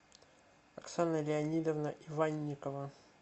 оксана леонидовна иванникова